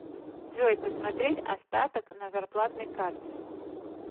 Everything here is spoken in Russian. джой посмотреть остаток на зарплатной карте